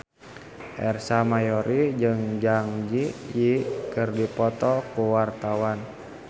Ersa Mayori jeung Zang Zi Yi keur dipoto ku wartawan